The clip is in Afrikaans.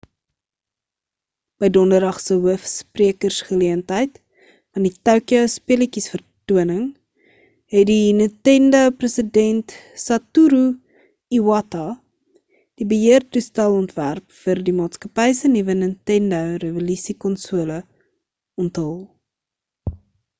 by donderdag se hoof sprekersgeleentheid van die tokyo speletjiesvertoning het die nintendo president satoru iwata die beheertoestel-ontwerp vir die maatskappy se nuwe nintendo revolusie-konsole onthul